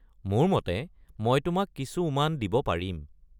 মোৰ মতে মই তোমাক কিছু উমান দিব পাৰিম।